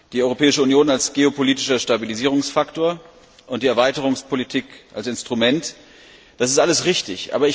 Die Europäische Union als geopolitischer Stabilisierungsfaktor und die Erweiterungspolitik als Instrument, das ist alles richtig.